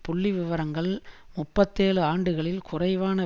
புள்ளிவிவரங்கள் முப்பத்தேழு ஆண்டுகளில் குறைவான